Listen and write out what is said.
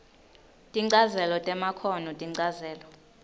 tinchazelo temakhono tinchazelo